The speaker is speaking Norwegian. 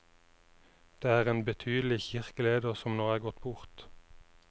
Det er en betydelig kirkeleder som nå er gått bort.